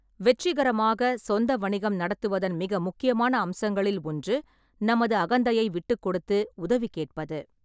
வெற்றிகரமாகச் சொந்த வணிகம் நடத்துவதன் மிக முக்கியமான அம்சங்களில் ஒன்று, நமது அகந்தையை விட்டுக்கொடுத்து உதவி கேட்பது.